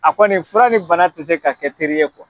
A kɔni fura ni bana te se ka kɛ teri ye kuwa